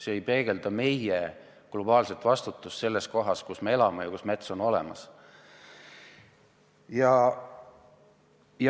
See ei peegelda meie globaalset vastutust kohas, kus me elame ja kus mets on olemas.